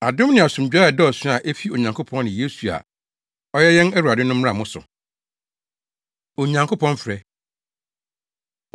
Adom ne asomdwoe a ɛdɔɔso a efi Onyankopɔn ne Yesu a ɔyɛ yɛn Awurade no mmra mo so. Onyankopɔn Frɛ